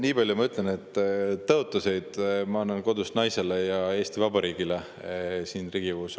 Nii palju ma ütlen, et tõotusi ma annan kodus naisele ja Eesti Vabariigile siin Riigikogus.